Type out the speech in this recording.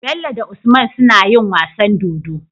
Bello da usman suna yin wasan dodo